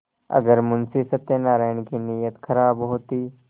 अगर मुंशी सत्यनाराण की नीयत खराब होती